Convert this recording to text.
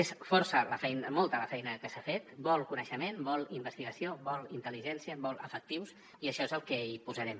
és força molta la feina que s’ha fet vol coneixement vol investigació vol intel·ligència vol efectius i això és el que hi posarem